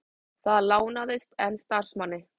Það lánaðist, en starfsmanni